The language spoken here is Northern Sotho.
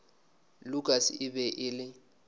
lukas e be e le